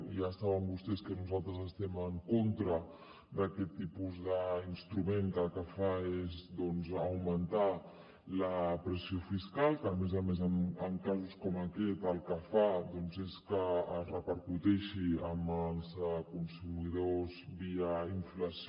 ja saben vostès que nosaltres estem en contra d’aquest tipus d’instrument que el que fa és augmentar la pressió fiscal que a més a més en casos com aquest el que fa és que es repercuteixi en els consumidors via inflació